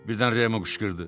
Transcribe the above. Birdən Remo qışqırdı.